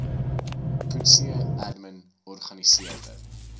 coetzee admin organiseerde